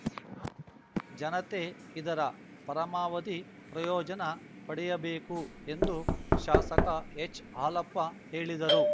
ಜನತೆ ಇದರ ಪರಮಾವಧಿ ಪ್ರಯೋಜನ ಪಡೆಯಬೇಕು ಎಂದು ಶಾಸಕ ಎಚ್‌ಹಾಲಪ್ಪ ಹೇಳಿದರು